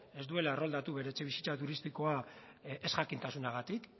ez duela erroldatu bere etxebizitza turistikoa ezjakintasunagatik